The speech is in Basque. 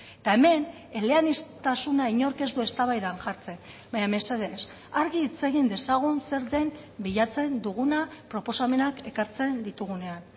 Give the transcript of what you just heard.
eta hemen eleaniztasuna inork ez du eztabaidan jartzen baina mesedez argi hitz egin dezagun zer den bilatzen duguna proposamenak ekartzen ditugunean